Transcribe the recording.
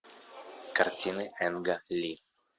картины энга ли